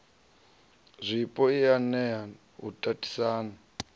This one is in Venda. zwapo i nea u tatisana